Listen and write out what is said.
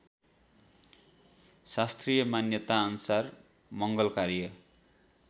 शास्त्रीय मान्यताअनुसार मङ्गलकार्य